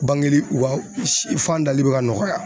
Bange li , u ka fan dali be ka nɔgɔya.